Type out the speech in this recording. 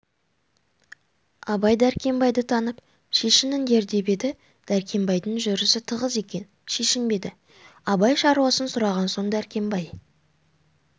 абай дәркембайды танып шешініңдер деп еді дәркембайдың жүрісі тығыз екен шешінбеді абай шаруасын сұраған соң дәркембай